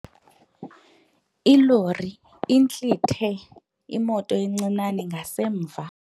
Ilori intlithe imoto encinane ngasemva.